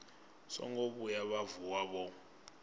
songo vhuya vha vuwa vho